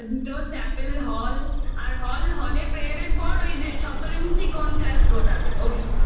ওই দুটো chapel hall hall এ prayer এর পর ওই যে শতরঞ্চি কোন class গোটাবে ওফ